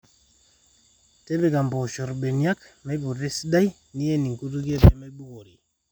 tipika impoosho irbeniak meiputa esidai nien inkutukie pee meibukori